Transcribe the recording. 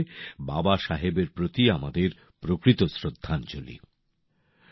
এটাই হবে বাবা সাহেবের প্রতি আমাদের প্রকৃত শ্রদ্ধাঞ্জলি